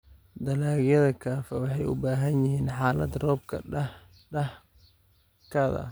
Dalagyada kafee waxay u baahan yihiin xaalad roobka dhexdhexaadka ah.